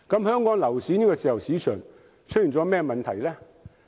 香港樓市的自由市場出現了甚麼問題？